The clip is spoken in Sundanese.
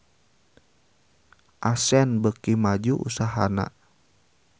Accent beuki maju usahana